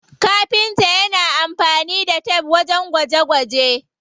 Kafinta yana amfani da tef wajen gwaje gwaje.